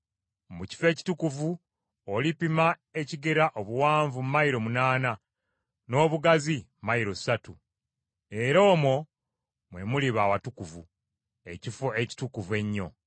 Mu kifo ekitukuvu olipima ekigera obuwanvu mayilo munaana, n’obugazi mayilo ssatu, era omwo mwe muliba awatukuvu, Ekifo Ekitukuvu Ennyo.